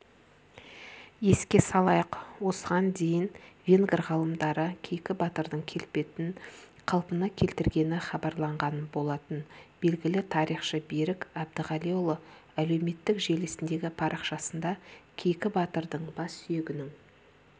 еске салайық осыған дейінвенгр ғалымдары кейкі батырдың келбетін қалпына келтіргені хабарланған болатын белгілі тарихшы берік әбдіғалиұлы әлеуметтік желісіндегі парақшасында кейкі батырдың бассүйегінің